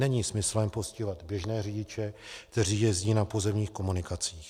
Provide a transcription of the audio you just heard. Není smyslem postihovat běžné řidiče, kteří jezdí na pozemních komunikacích.